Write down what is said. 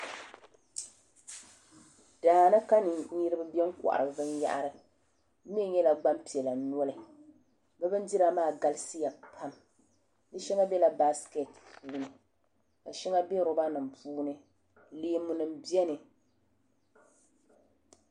Daani ka niriba be n kohari binyahari bɛ mee nyɛla gbampiɛla noli bɛ bindira maa galisiya pam di sheŋa bela baasiketi puuni ka sheŋa be loba nima puuni leemu nima biɛni.